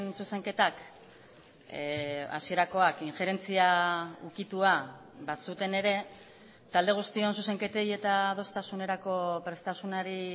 zuzenketak hasierakoak injerentzia ukitua bazuten ere talde guztion zuzenketei eta adostasunerako prestasunari